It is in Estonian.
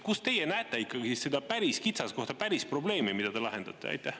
Kus teie näete seda päris kitsaskohta, päris probleemi, mida te lahendate?